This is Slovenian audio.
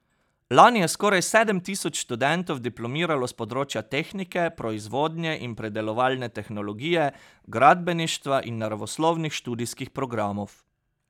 Lani je skoraj sedem tisoč študentov diplomiralo s področja tehnike, proizvodnje in predelovalne tehnologije, gradbeništva in naravoslovnih študijskih programov.